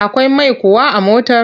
Akwai mai kuwa a motar?